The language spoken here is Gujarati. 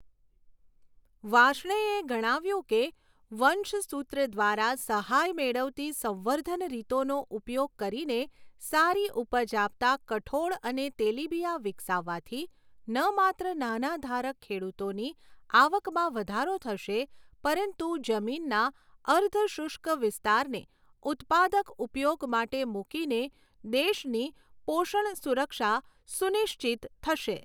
વાર્ષ્ણેયે ગણાવ્યું કે વંશસૂત્ર દ્વારા સહાય મેળવતી સંવર્ધન રીતોનો ઉપયોગ કરીને સારી ઉપજ આપતા કઠોળ અને તેલીબિયાં વિકસાવવાથી ન માત્ર નાના ધારક ખેડૂતોની આવકમાં વધારો થશે, પરંતુ જમીનના અર્ધ શુષ્ક વિસ્તારને ઉત્પાદક ઉપયોગ માટે મૂકીને દેશની પોષણ સુરક્ષા સુનિશ્ચિત થશે